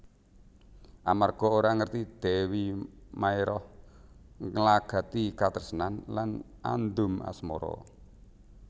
Amarga ora ngerti Dèwi Maérah nglagati katresnan lan andum asmara